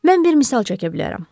Mən bir misal çəkə bilərəm.